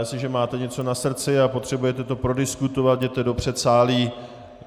Jestliže máte něco na srdci a potřebujete to prodiskutovat, jděte do předsálí.